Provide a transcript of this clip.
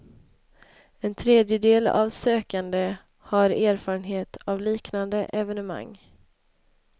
En tredjedel av de sökande har erfarenhet av liknande evenemang.